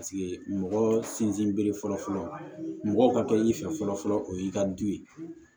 mɔgɔ sinsin bere fɔlɔfɔlɔ mɔgɔw ka kɛ i fɛ fɔlɔ o y'i ka du ye